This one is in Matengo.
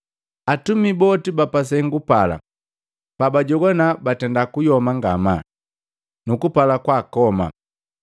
Atumi boka ba pa sengu pala pabajogwana batenda kuyoma ngamaa, nukupala kwa akoma.